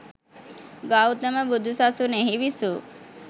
ගෞතම බුදු සසුනෙහි විසූ